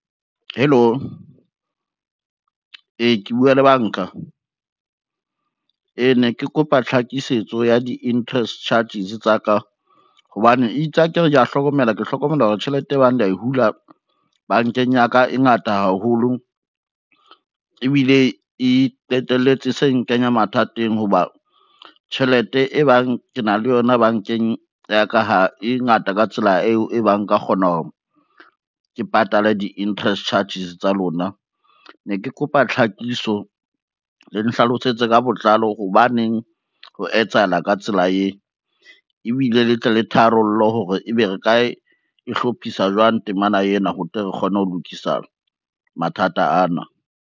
Hello, ee ke bua le banka? Ee ne ke kopa tlhakisetso ya di-interest charges tsa ka, hobane itse akere kea hlokomela, ke hlokomela hore tjhelete e bang le a hula bankeng ya ka e ngata haholo, ebile e qetelletse se nkenya mathateng ho ba tjhelete e bang ke na le yona bankeng ya ka, ha e ngata ka tsela eo e bang nka kgona hore ke patale di-interest charges tsa lona ne ke kopa tlhakiso le nhlalosetse ka botlalo hobaneng ho etsahala ka tsela eo, ebile le tle le tharollo hore ebe re ka e e hlophisa jwang temana ena, ho tle re kgone ho lokisa mathata ana.